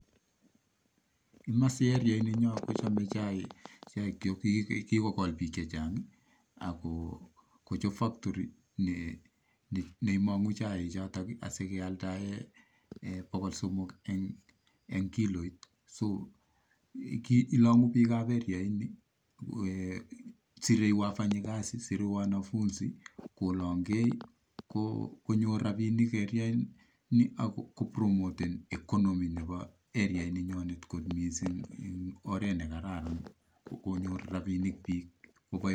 Komosii Bo areainyon kochobe biik chaik ak kigogool biik chechang, ako kochob factory neiimonguu chaichoton asikealdaa bogol Simok en kiloit, ak ilonguu biikab koronitok ak sire biik kasit, sire logook b sugul ak kolonge konyor rabinik areaini ako kotokos uchumi nenywan, kit nekakararan kot missing ko konyor rabinik biik